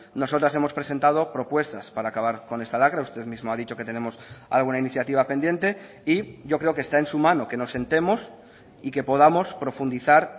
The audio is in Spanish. nosotras hemos presentado propuestas para acabar con esta lacra usted mismo ha dicho que tenemos alguna iniciativa pendiente y yo creo que está en su mano que nos sentemos y que podamos profundizar